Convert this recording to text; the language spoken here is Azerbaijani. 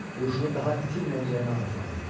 Huşunu daha itirməyəcəyinə arxayın idi.